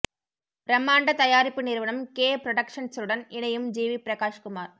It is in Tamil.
பிரம்மாண்ட தயாரிப்பு நிறுவனம் கே ப்ரொடக்ஷன்சுடன் இணையும் ஜிவி பிரகாஷ் குமார்